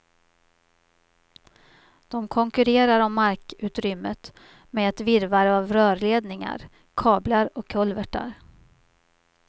De konkurrerar om markutrymmet med ett virrvarr av rörledningar, kablar och kulvertar.